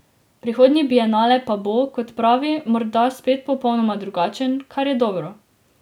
Prihodnji bienale pa bo, kot pravi, morda spet popolnoma drugačen, kar je dobro.